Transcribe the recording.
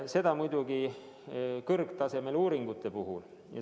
Seda muidugi kõrgtasemel uuringute puhul.